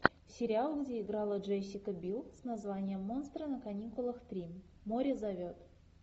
сериал где играла джессика бил с названием монстры на каникулах три море зовет